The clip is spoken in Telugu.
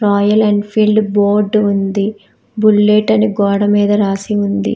రాయల్ ఎన్ఫీల్డ్ బోర్డు ఉంది బుల్లెట్ అని గోడ మీద రాసి ఉంది.